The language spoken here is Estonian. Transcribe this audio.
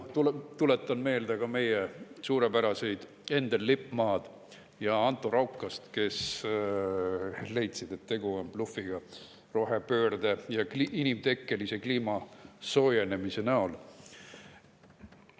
Tuletan meelde ka meie suurepäraseid Endel Lippmaad ja Anto Raukast, kes leidsid, et rohepöörde ja inimtekkelise kliimasoojenemise puhul on tegu blufiga.